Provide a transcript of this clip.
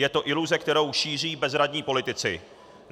Je to iluze, kterou šíří bezradní politici.